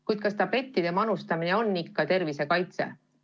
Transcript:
Kuid kas tablettide manustamine on ikka tervise kaitse?